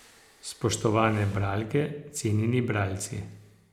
Spoštovane bralke, cenjeni bralci.